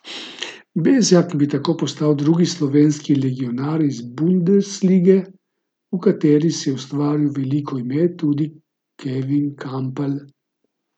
Bezjak bi tako postal drugi slovenski legionar iz bundeslige, v kateri si je ustvaril veliko ime tudi Kevin Kampl.